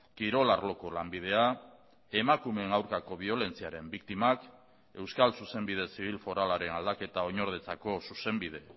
kirol arloko lanbidea emakumeen aurkako biolentziaren biktimak euskal zuzenbide zibil foralaren aldaketa oinordetzako zuzenbide